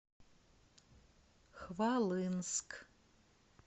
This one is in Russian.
хвалынск